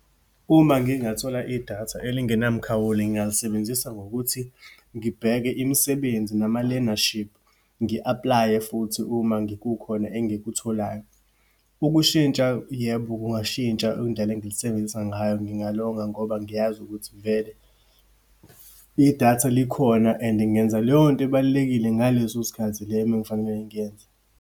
Uma ngingathola idatha elingenamkhawulo, ngingalisebenzisa ngokuthi ngibheke imisebenzi nama-learnership, ngi apply-e futhi uma , kukhona engikutholayo. Ukushintsha, yebo kungashintsha indlela engilisebenzisa ngayo, ngingalonga ngoba ngiyazi ukuthi vele idatha likhona and ngenza leyonto ebalulekile ngaleso sikhathi le uma ngifanele ngiyenze.